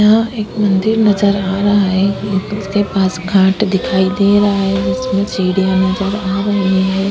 यहाँ एक मंदिर नजर आ रहा है। उसके पास घाट दिखाई दे रहा है। जिसमे सीढियाँ नजर आ रही हैं।